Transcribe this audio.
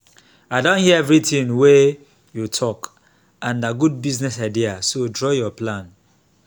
i don hear everything wey you talk and na good business idea so draw your plan